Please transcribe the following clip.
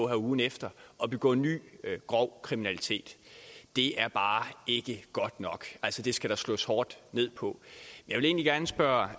her ugen efter og begå ny grov kriminalitet det er bare ikke godt nok det skal der slås hårdt ned på jeg vil egentlig gerne spørge